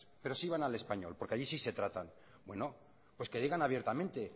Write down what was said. pero sí van al español porque allí sí se tratan bueno pues que digan abiertamente